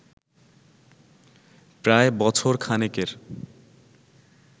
প্রায় বছর খানেকের